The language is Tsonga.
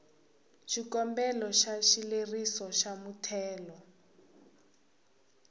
xikombelo xa xileriso xa muthelo